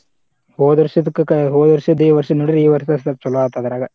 ಹೋದ ವರ್ಷದಕ್ಕ ಹೋದ ವರ್ಷದ್ದು ಈ ವರ್ಷದ್ದು ನೋಡಿರ ಈ ವರ್ಷದ್ದ ಸ್ವಲ್ಪ ಚೊಲೋ ಆತ ಅದ್ರಾಗ.